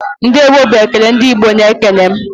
"Ndeewo" bụ ekele ndị Igbo na-ekele.